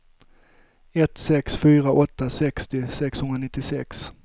ett sex fyra åtta sextio sexhundranittiosex